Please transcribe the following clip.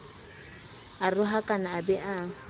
a rohakane a be a